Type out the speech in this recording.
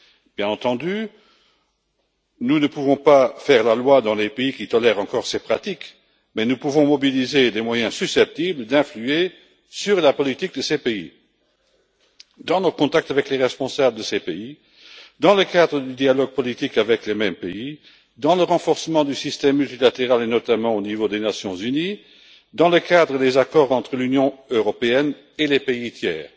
Nous ne pouvons, bien entendu, pas faire la loi dans les pays qui tolèrent encore ces pratiques, mais nous pouvons mobiliser des moyens susceptibles d'influer sur leur politique dans nos contacts avec leurs responsables, dans le cadre du dialogue politique avec ces pays, dans le renforcement du système multilatéral, et notamment au niveau des Nations unies, et dans le cadre des accords entre l'Union européenne et les pays tiers.